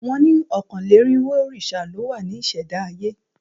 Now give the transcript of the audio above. Wọ́n ni ọ̀kánlénírinwó òrìṣà ló wá ní ìṣẹ̀dá ayé